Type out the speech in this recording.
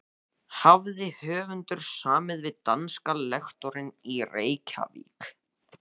Hafði höfundur samið við danska lektorinn í Reykjavík